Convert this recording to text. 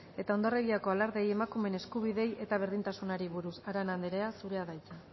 eta hondarribiko alardeei emakumeen eskubideei eta berdintasunari buruz arana andrea zurea da hitza